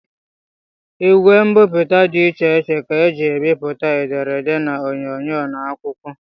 Igwe mbipụta dị iche iche ka e ji ebipụta ederede na onyoonyo n'akwụkwọ